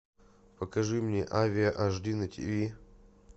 покажи мне авиа аш ди на тиви